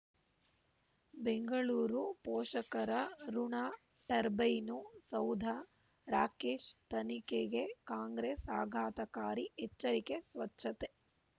ಬೆಂಗಳೂರು ಪೋಷಕರಋಣ ಟರ್ಬೈನು ಸೌಧ ರಾಕೇಶ್ ತನಿಖೆಗೆ ಕಾಂಗ್ರೆಸ್ ಆಘಾತಕಾರಿ ಎಚ್ಚರಿಕೆ ಸ್ವಚ್ಛತೆ